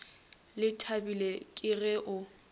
le thabile ke ge o